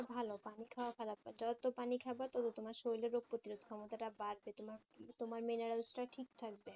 ভালো পানি খাওয়া খারাপ নয় যত পানি খাবে তত তোমার শরীরের রোগ প্রতিরোধ ক্ষমতাটা বাড়বে তোমার তোমার minerals টা ঠিক থাকবে